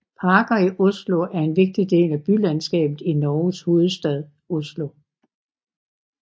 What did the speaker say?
Parker i Oslo er en vigtig del af bylandskabet i Norges hovedstad Oslo